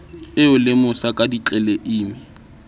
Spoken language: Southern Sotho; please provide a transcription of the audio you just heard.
e o lemosa ka ditleleime